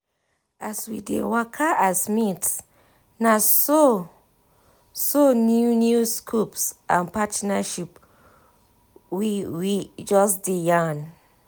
as we dey waka as mates naso so new new scopes and partnership we we just dey yan